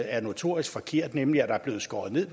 er notorisk forkert nemlig at der er blevet skåret ned